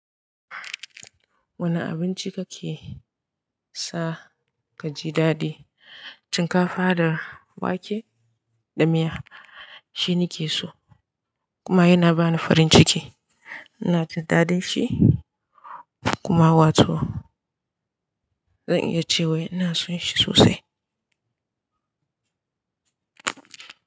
Wane abinci kake sa ka ji daɗi? Shinkafa da wake da miya shine ke so kuma yana bani farin ciki. Ina jin daɗin shi kuma wato zan iya cewa ina son shi sosai.